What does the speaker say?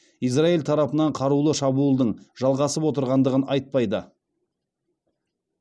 израиль тарапынан қарулы шабуылдың жалғасып отырғандығын айтпайды